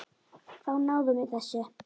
Þá náðum við þessu.